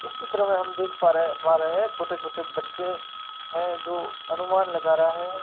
इस चित्र में हम देख पा रहे पा रहे हैं छोटे छोटे बच्चे हैं जो अनुमान लगा रहा है।